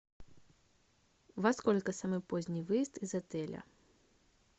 во сколько самый поздний выезд из отеля